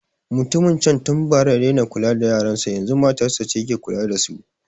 Mutumin can tun bara ya daina kula da yaran sa, yazun matar ce ke kula da su.